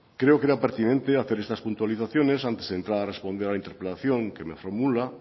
creo que era pertinente hacer estas puntualizaciones antes de entrar a responder a la interpelación que me formula